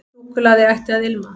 Súkkulaði ætti að ilma.